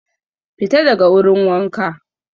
Fita daga wurin wanka